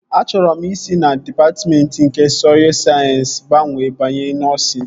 Achọrọ m isi na dịpatmentị nke sọy sayensị gbanwee banye nọsịn